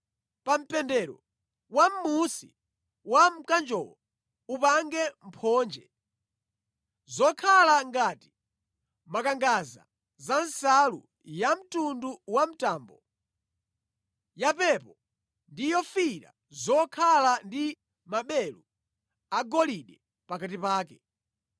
Pa mpendero wamʼmunsi wa mkanjowo, upange mphonje zokhala ngati makangadza za nsalu yamtundu wa mtambo, yapepo ndi yofiira zokhala ndi maberu agolide pakati pake.